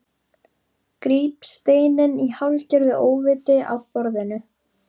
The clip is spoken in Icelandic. Gríp steininn í hálfgerðu óviti af borðinu.